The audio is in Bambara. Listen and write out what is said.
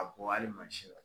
A bɔ hali mansi la.